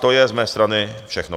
To je z mé strany všechno.